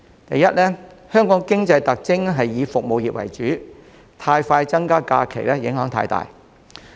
第一，香港的經濟特徵以服務業為主，增加假期的步伐太快會帶來很大影響。